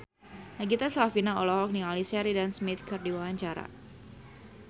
Nagita Slavina olohok ningali Sheridan Smith keur diwawancara